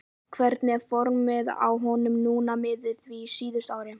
Hvernig er formið á honum núna miðað við síðustu ár?